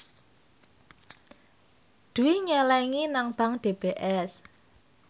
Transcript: Dwi nyelengi nang bank DBS